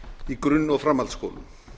í grunn og framhaldsskólum